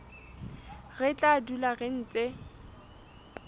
re tla dula re ntse